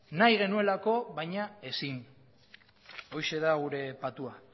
nahi genuelako baina ezin horixe da gure patua